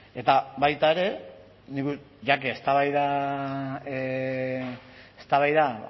eta baita ere ya que eztabaida